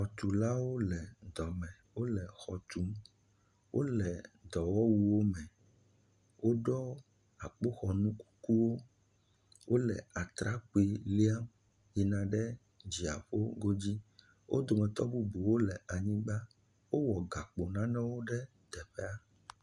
xɔtulawo le dɔme wóle xɔ tum wóle dɔwɔwuwo me wóɖɔ akpoxɔnu kukuwo wóle atrakpui liam yina ɖe dziaƒo godzi wó dometɔ bubuwo le anyigbã wó wɔ gakpo nanewo ɖe anyigbã